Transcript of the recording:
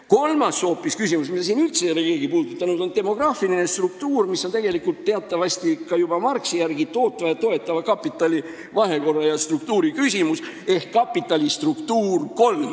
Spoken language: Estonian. Kolmas küsimus, mida siin üldse keegi puudutanud ei ole, on demograafiline struktuur, mis oli teatavasti juba Marxi järgi tootva ja toetava kapitali vahekorra küsimus ehk kapitali struktuuri kolmas osa.